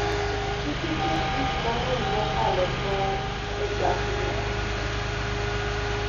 Kik iket gik mang'eny mokalo tong' e bagni.